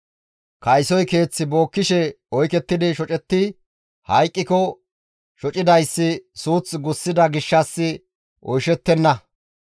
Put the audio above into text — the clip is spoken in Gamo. «Kaysoy keeth bookkishe oykettidi shocetti hayqqiko shocidayssi suuth gussida gishshas oychchettenna.